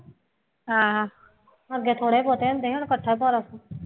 ਅੱਗੇ ਥੋੜ੍ਹੇ ਬਹੁਤੇ ਹੁੰਦੇ ਸੀ ਹੁਣ ਇਕੱਠਾ ਭਾਰਾ